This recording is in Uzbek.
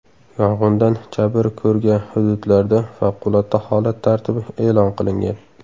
Yong‘indan jabr ko‘rga hududlarda favqulodda holat tartibi e’lon qilingan.